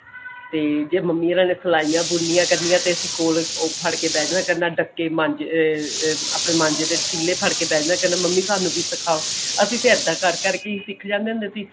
ਤੇ ਮੰਮੀ ਹੋਣਾ ਜੇ ਸਿਲਾਇਆ ਬੁਨਣੀਆ ਕਰਨੀਆ ਤੇ ਅਸੀਂ ਕੋਲ ਫੜ ਕੇ ਬਹਿ ਜੀਆ ਕਰਨਾ ਡੱਕੇ ਅਹ ਅਹ ਆਪਣੇ ਮਾਂਜੇ ਦੇ ਤਿੱਲੇ ਫੜ੍ਹ ਕੇ ਬਹਿ ਜੀਆ ਕਰਨਾ ਮੰਮੀ ਸਾਨੂੰ ਵੀ ਸਿਖਾਓ ਅਸੀਂ ਤਾਂ ਏਦਾਂ ਕਰ ਕਰ ਕੇ ਸਿੱਖ ਜਾਂਦੇ ਸੀ